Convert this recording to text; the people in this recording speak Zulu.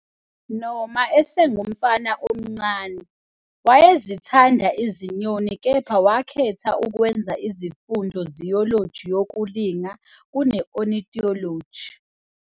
Noma esengumfana omncane, wayezithanda izinyoni kepha wakhetha ukwenza izifundo zoology yokulinga kune-ornithology.